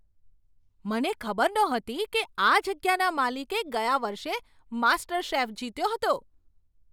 મને ખબર નહોતી કે આ જગ્યાના માલિકે ગયા વર્ષે માસ્ટરશેફ જીત્યો હતો!